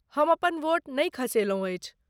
हम अपन वोट नै खसेलहुँ अछि।